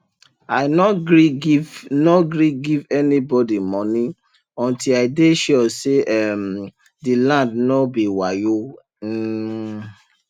i nor gree give nor gree give any bodi moni unti i dey sure say um the land no be wayo um